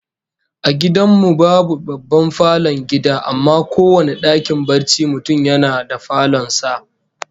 A gidan mu babu babban falon gida, amma kowane dakin barcin mutum yana da falon sa